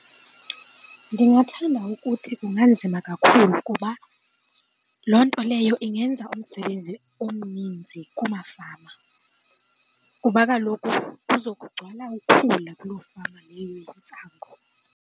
Ndingathanda ukuthi kunganzima kakhulu kuba loo nto leyo ingenza umsebenzi omninzi kumafama kuba kaloku kuzokugcwala ukhula kuloo fama leyo yentsangu.